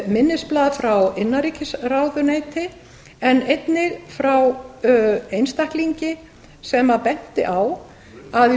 minnisblað frá innanríkisráðuneyti en einnig frá einstaklingi sem benti á að í